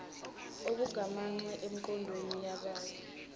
okugamanxe emigoqweni yebala